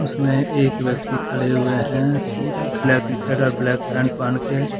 में एक व्यक्ति खड़े हुए हैं ब्लैक टी शर्ट और ब्लैक पैंट पहन के।